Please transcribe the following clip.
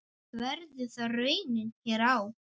Verður það raunin hér á?